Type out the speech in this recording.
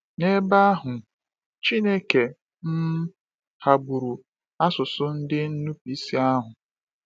N’ebe ahụ, Chineke um ghagburu asụsụ ndị nnupụisi ahụ